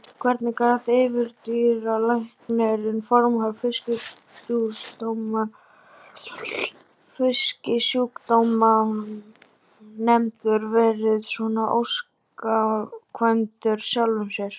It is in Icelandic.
Hvernig gat yfirdýralæknir, formaður Fisksjúkdómanefndar, verið svona ósamkvæmur sjálfum sér?